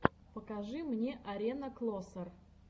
покажи мне арена клосер